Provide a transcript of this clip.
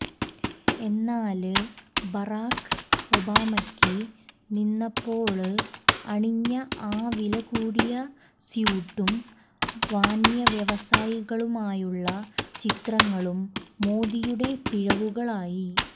എന്നാല് ബറാക്ക് ഒബാമയ്ക്കൊപ്പം നിന്നപ്പോള് അണിഞ്ഞആ വിലകൂടിയ സ്യൂട്ടും വന്വ്യവസായികളുമായുള്ള ചിത്രങ്ങളും മോദിയുടെ പിഴവുകളായി